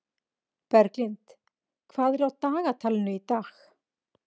Berglind, hvað er í dagatalinu í dag?